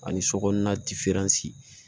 Ani sokɔnɔna